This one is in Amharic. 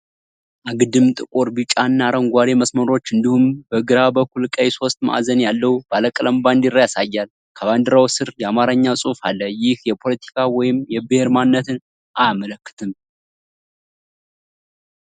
አግድም ጥቁር፣ ቢጫ እና አረንጓዴ መስመሮች እንዲሁም በግራ በኩል ቀይ ሶስት ማዕዘን ያለው ባለቀለም ባንዲራ ያሳያል። ከባንዲራው ስር የአማርኛ ጽሑፍ አለ፤ ይህም የፖለቲካ ወይም የብሔር ማንነትን አያመለክትም?